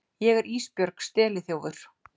Ég er Ísbjörg steliþjófur.